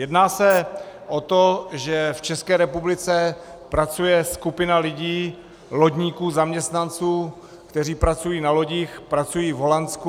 Jedná se o to, že v České republice pracuje skupina lidí, lodníků, zaměstnanců, kteří pracují na lodích, pracují v Holandsku.